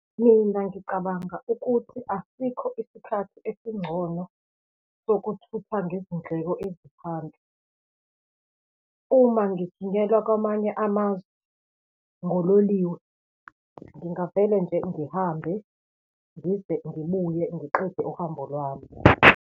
Mina, ngicabanga ukuthi asikho isikhathi esingcono sokuthutha ngezindleko eziphansi. Uma ngithunyelwa kwamanye amazwe ngololiwe, ngingavele nje ngihambe, ngize ngibuye, ngiqede uhambo lwami.